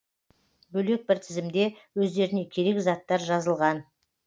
бөлек бір тізімде өздеріне керек заттар жазылған